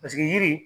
Paseke yiri